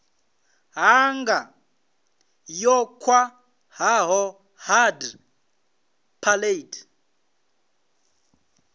ṱhanga yo khwaṱhaho hard palate